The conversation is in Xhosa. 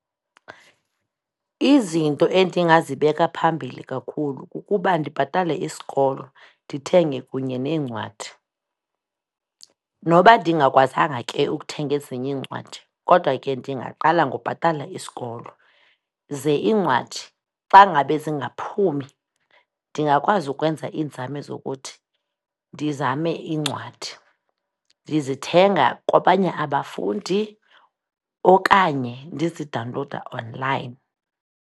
Izinto endingazibeka phambili kakhulu kukuba ndibhatale isikolo, ndithenge kunye neencwadi. Noba ndingakwazanga ke ukuthenga ezinye iincwadi kodwa ke ndingaqala ngobhatala isikolo, ze iincwadi xangabe zingaphumi ndingakwazi ukwenza iinzame zokuthi ndizame iincwadi, ndizithenga kwabanye abafundi okanye ndizidawunlowuda online.